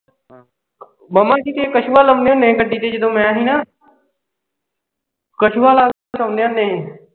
ਮਾਮਾ ਕਿਤੇ ਕਛੂਆ ਲਾਉਣੇ ਹੁੰਦੇ ਸੀ ਗੱਡੀ ਵਿਚ ਜਦੋਂ ਮੈਂ ਹੀ ਨਾ। ਕਛੂਆ ਲਾ ਕੇ ਸੌਂਦੇ ਹੁੰਦੇ ਹੀ।